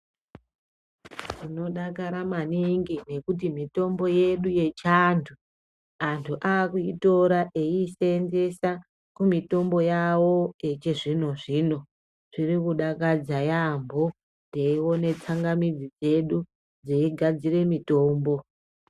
Tinodakara maningi ngekuti mitombo yedu yechiantu, antu akuitora echisenzesa kumitombo yawo yechizvino zvino. Zviri kudakadza yaambo teione tsangamidzi dzedzu dzeigadzire mitombo.